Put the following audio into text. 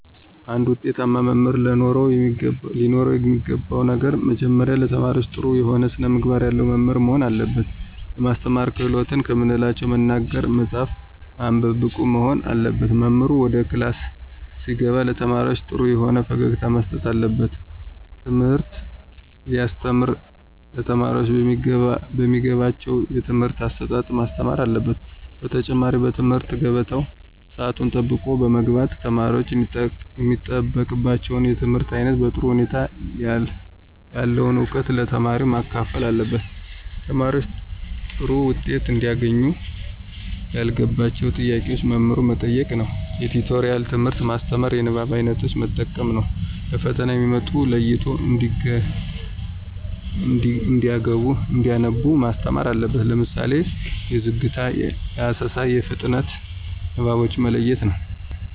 አንድ ውጤታማ መምህር ለኖረው የሚገባው ነገር መጀመሪያ ለተማሪዎች ጥሩ የሆነ ስነምግባር ያለው መምህር መሆን አለበት። የማስተማር ክህሎትን ከምንላቸው መናገር፣ መፃፍ፣ ማንበብ ብቁ መሆን አለበት። መምህሩ ወደ ክላስ ሲገባ ለተማሪዎች ጥሩ የሆነ ፈገግታ መስጠት አለበት። ትምህርት ሲያስተም ለተማሪዎቹ በሚገባቸው የትምህርት አሰጣጥ ማስተማር አለበት። በተጨማሪ በትምህርት ገበታው ሰአቱን ጠብቆ በመግባት ተማሪወች የሚጠበቅባቸውን የትምህርት አይነት በጥሩ ሁኔታ ያለውን እውቀት ለተማሪዎች ማካፈል አለበት። ተማሪዎች ጥሩ ዉጤት እንዲያገኙ ያልገባቸውን ጥያቄ መምህሩ መጠየቅ ነዉ። የቲቶሪያል ትምህርት ማስተማር። የንባብ አይነቶችን መጠቀም ነው። ለፈተና የሚመጡትን ለይቶ እንዲያነቡ ማስተማር አለበት። ለምሳሌ የዝግታ፣ የአሰሳ፣ የፍጥነት ንባቦችን መለየት ነው።